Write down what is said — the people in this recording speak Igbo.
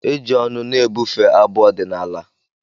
E ji ọnụ na-ebufe abụ ọdịnala.